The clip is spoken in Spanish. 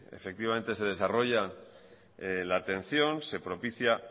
se desarrolla la atención se propicia